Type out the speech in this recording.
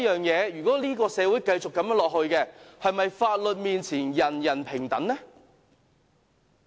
如果這個社會繼續如此下去，是否法律面前，人人平等？